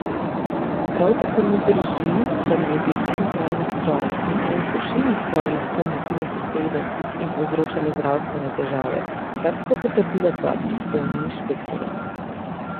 Prav tako ne drži, da naj bi en pralni stroj in en sušilni stroj lahko motila sosede in povzročala zdravstvene težave, kar sta potrdila dva pristojna inšpektorja.